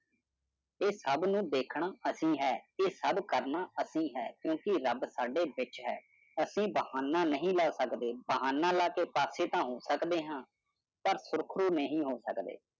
ਇਹ ਸਭ ਨੂੰ ਦੇਖਣਾ ਅਸੀਂ ਹੈ। ਇਹ ਸਭ ਕਰਨਾ ਅਸੀਂ ਹੈ ਕਿਉਂਕਿ ਰੱਬ ਸਾਡੇ ਵਿੱਚ ਹੈ । ਅਸੀਂ ਬਹਾਨਾ ਨਹੀਂ ਲੈ ਸਕਦੇ, ਬਹਾਨਾ ਲੈ ਕੇ ਪਾਸੇ ਤਾਂ ਹੋ ਸਕਦੇ ਹਾਂ ਪਰ ਸੁਰਖਰੂ ਨਹੀਂ ਹੋ ਸਕਦੇ।